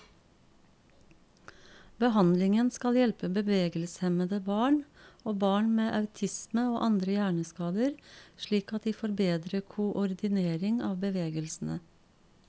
Behandlingen skal hjelpe bevegelseshemmede barn, og barn med autisme og andre hjerneskader slik at de får bedre koordinering av bevegelsene.